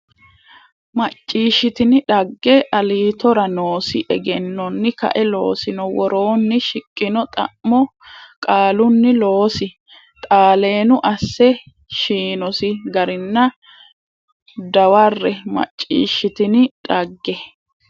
macciishshitini dhagge Aliitora noosi egennonni kae loosino woroonni shiqqino xa mo qaalunni loosi xaaleenu asse shiinosi garinna dawarre macciishshitini dhagge.